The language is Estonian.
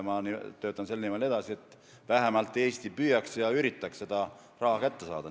Ma töötan edasi selle nimel, et Eesti vähemalt üritaks seda raha kätte saada.